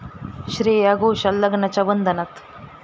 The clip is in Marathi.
श्रेया घोषाल लग्नाच्या बंधनात